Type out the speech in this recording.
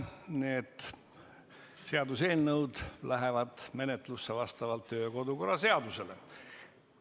Need seaduseelnõud lähevad menetlusse vastavalt kodu- ja töökorra seadusele.